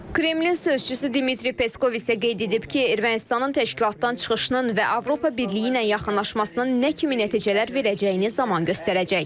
Kremlin sözçüsü Dmitri Peskov isə qeyd edib ki, Ermənistanın təşkilatdan çıxışının və Avropa Birliyi ilə yaxınlaşmasının nə kimi nəticələr verəcəyini zaman göstərəcək.